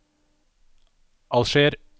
Alger